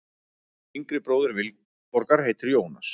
Yngri bróðir Vilborgar heitir Jónas.